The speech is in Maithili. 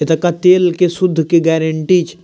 इ तकअ तेल के शुद्ध के गेरेंटी छ --